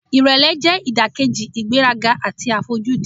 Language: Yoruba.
Ìrẹ̀lẹ̀ jẹ́ ìdàkejì ìgbéraga àti àfojúdi.